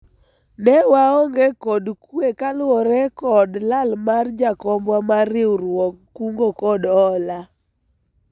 ne waonge kod kwe kaluwore kod lal mar jakombwa mar riwruog kungo kod hola